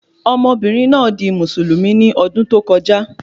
Ọmọbìnrin náà di Mùsùlùmí ní ọdún tó kọjá